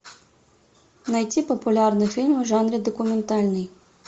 найти популярные фильмы в жанре документальный